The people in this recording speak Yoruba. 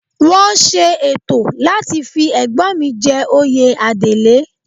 Wọ́n ṣe ètò láti fi Ẹ̀gbọ́n mi jẹ oyè Adelé